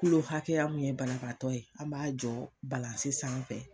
hakɛya min ye banabaatɔ ye an b'a jɔ sanfɛ